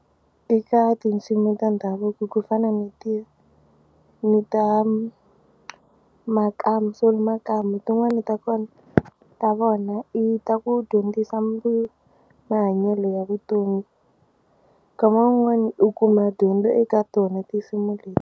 Eka tinsimu ta ndhavuko ku fana ni ti ni ta Makamu Solly Makamu tin'wani ta kona ta vona i ta ku dyondzisa mahanyelo ya vutomi nkama wun'wani u kuma dyondzo eka tona tinsimu leti.